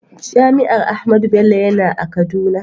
Jami'ar Ahmadu Bello yana a kaduna.